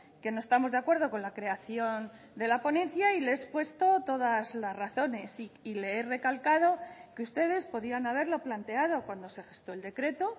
que no estamos de acuerdo con la creación de la ponencia y le he expuesto todas las razones y le he recalcado que ustedes podían haberlo planteado cuando se gestó el decreto